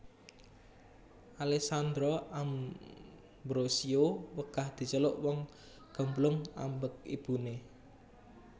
Alessandra Ambrossio wegah diceluk wong gemblung ambek ibune